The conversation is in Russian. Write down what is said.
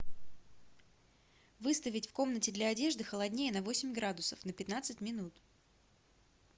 выставить в комнате для одежды холоднее на восемь градусов на пятнадцать минут